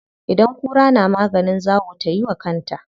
Idan kura na maganin zawo tayi wa kanta.